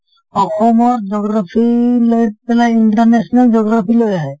অসমৰ geography লৈ পেলাই international geography লৈ আহে।